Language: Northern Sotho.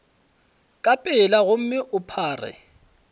ka pela gomme o phare